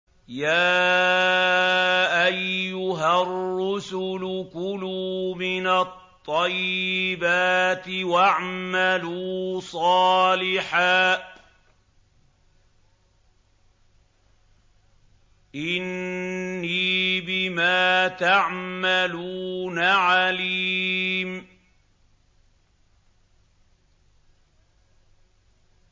يَا أَيُّهَا الرُّسُلُ كُلُوا مِنَ الطَّيِّبَاتِ وَاعْمَلُوا صَالِحًا ۖ إِنِّي بِمَا تَعْمَلُونَ عَلِيمٌ